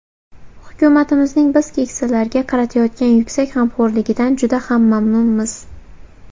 Hukumatimizning biz keksalarga qaratayotgan yuksak g‘amxo‘rligidan juda ham mamnunmiz.